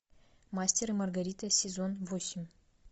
мастер и маргарита сезон восемь